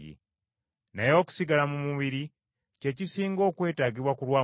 Naye okusigala mu mubiri kye kisinga okwetaagibwa ku lwammwe